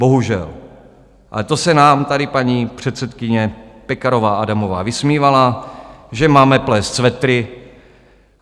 Bohužel ale to se nám tady paní předsedkyně Pekarová Adamová vysmívala, že máme plést svetry.